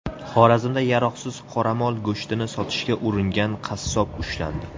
Xorazmda yaroqsiz qoramol go‘shtini sotishga uringan qassob ushlandi.